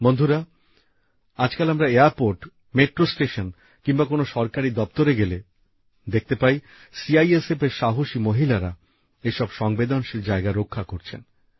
বন্ধুরা আজকাল আমরা এয়ারপোর্ট মেট্রো স্টেশন কিম্বা কোন সরকারি দপ্তরে গেলে দেখতে পাই সিআইএসএফেরএর সাহসী মহিলারা এসব সংবেদনশীল জায়গা রক্ষা করছেন